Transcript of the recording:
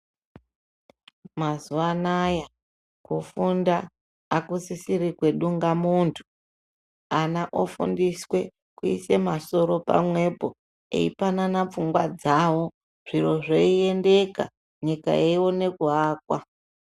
Mazuvanaya kufunda akusisiri kwedungamuntu. Ana ofundiswe kuise masoro pamwepo, eipanana pfungwa dzawo zviro zveiendeka, nyika yeione kuakwa.